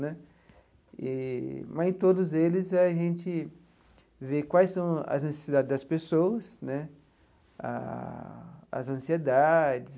Né eee mas, em todos eles, a gente vê quais são as necessidades das pessoas né, as ansiedades,